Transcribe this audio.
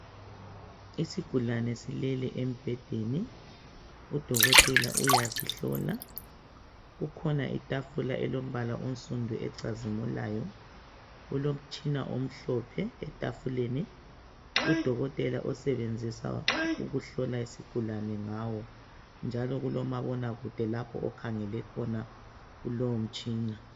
Isigulane silele embhedeni. Udokotela uyasihlola l. Kukhona itafula elombala onsundu ocazimulayo. Kulomtshina omhlophe etafuleni udokotela osebenzisa ukuhlola isingulane ngawo. njalo kulomabona kude lapho okhangele khona kulowo mtshina.